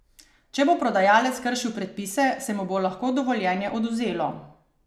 Če bo prodajalec kršil predpise, se mu bo lahko dovoljenje odvzelo.